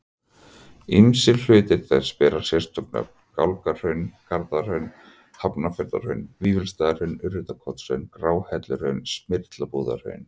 Ýmsir hlutar þess bera sérstök nöfn, Gálgahraun, Garðahraun, Hafnarfjarðarhraun, Vífilsstaðahraun, Urriðakotshraun, Gráhelluhraun, Smyrlabúðarhraun.